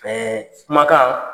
Ɛɛ kumakan